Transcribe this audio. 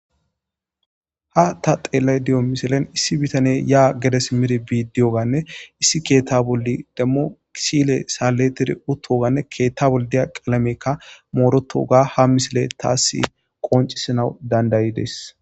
ha ta xeellay di7o misilen issi bitane yaa gedes miri bidiyoganne issi keetta bolli demmo kisile saletiri uttoganne keetta boll diya qalamekka moorotoga ha misile taasi qoncisanawu dandayides